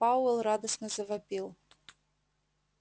пауэлл радостно завопил